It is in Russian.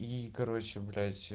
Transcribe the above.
и короче блять